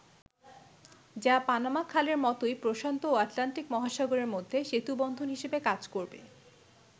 যা পানামা খালের মতোই প্রশান্ত ও আটলান্টিক মহাসাগরের মধ্যে সেতুবন্ধন হিসেবে কাজ করবে।